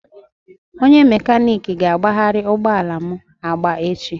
Onye mekaniki ga-agbagharị ụgbọ ala m agba echi